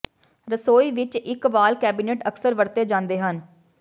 ਰਸੋਈ ਵਿਚ ਇਕ ਵਾਲ ਕੈਬਿਨੇਟ ਅਕਸਰ ਵਰਤੇ ਜਾਂਦੇ ਹਨ